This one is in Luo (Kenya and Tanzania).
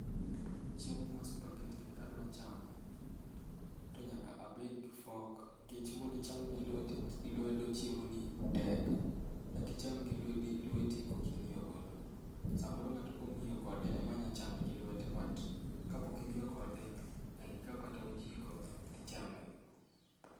Chiemo mar spagetti ni kadwa chame, to nyaka abed gi fork nikech mondo icham gi lwedo chiemoni, tek. Dak icham gi lwedo gi lweti kaok ing'iyo godo, samoro ng'ato kong'iyo kode emanyalo chame gi lwete but Kapok ing'iyo kode nyaka ikaw kata ojiko ichamego.